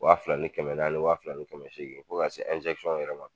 Wa fila ni kɛmɛ naani wa fila ni kɛmɛ seegin fo ka se yɔrɔ ma.